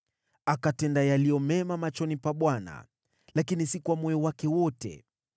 Akatenda yaliyo mema machoni pa Bwana , lakini sio kwa moyo wake wote.